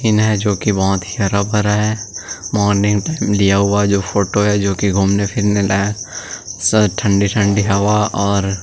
इन है जो की बहुत ही हरा - भरा है मॉर्निंग टाइम लिया हुआ फोटो है जो कि घूमने फिरने लाय ठंडी - ठंडी हवा और --